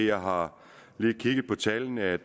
har lige kigget på tallene og jeg